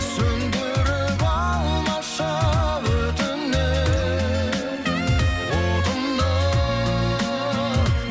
сөндіріп алмашы өтінем отымды